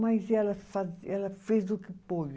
Mas ela faz, ela fez o que pôde.